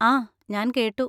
ആ, ഞാൻ കേട്ടു.